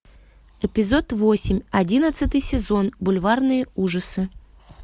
эпизод восемь одиннадцатый сезон бульварные ужасы